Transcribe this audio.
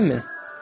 Görürsənmi?